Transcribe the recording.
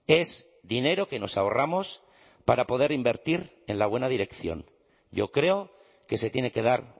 es dinero que nos ahorramos para poder invertir en la buena dirección yo creo que se tiene que dar